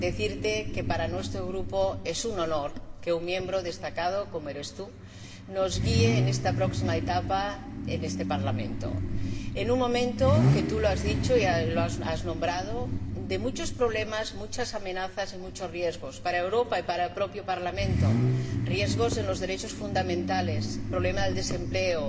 Quiero decirte que para nuestro Grupo es un honor que un miembro destacado, como eres tú, nos guíe en esta próxima etapa en este Parlamento en un momento —como tú has dicho y has nombrado— de muchos problemas, muchas amenazas y muchos riesgos para Europa y para el propio Parlamento riesgos para los derechos fundamentales, problema del desempleo,